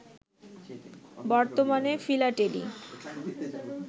বর্তমানে ফিলাটেলী